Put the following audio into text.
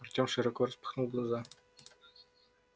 артём широко распахнул глаза